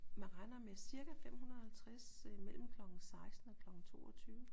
Man regner med cirka 550 mellem klokken 16 og klokken 22